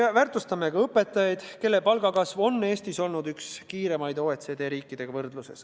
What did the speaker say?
Väärtustame ka õpetajaid, nende palgakasv on Eestis olnud üks kiiremaid teiste OECD riikidega võrreldes.